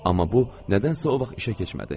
Amma bu nədənsə o vaxt işə keçmədi.